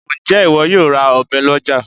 Ǹjẹ́ ìwọ yóò ra ọ̀bẹ lọ́já